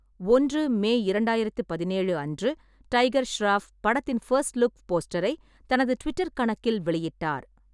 ஒன்று மே இரண்டாயிரத்து பதினேழு அன்று, டைகர் ஷெராஃப் படத்தின் ஃபர்ஸ்ட் லுக் போஸ்டரை தனது ட்விட்டர் கணக்கில் வெளியிட்டார்.